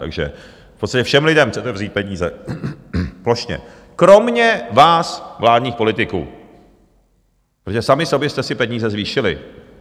Takže v podstatě všem lidem chcete vzít peníze plošně, kromě vás, vládních politiků, protože sami sobě jste si peníze zvýšili.